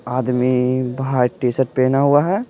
आदमी भाई टी-शर्ट पहना हुआ है।